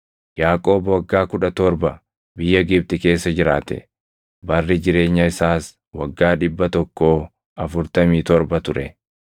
Yaaqoob waggaa kudha torba biyya Gibxi keessa jiraate; barri jireenya isaas waggaa dhibba tokkoo afurtamii torba ture.